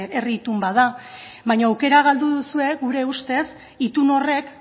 herri itun bat da baina aukera galdu duzue gure ustez itun horrek